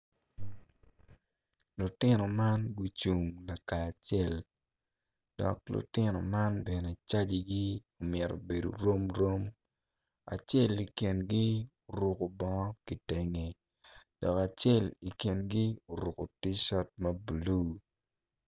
Lutino man gucung laka acel dok lutino man bene cajigi mito bedo romrom acel i kingi oruku bongo ki tenge dok acel i kingi oruku ticat ma blulu